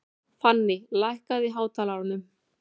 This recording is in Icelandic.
Fanný, lækkaðu í hátalaranum.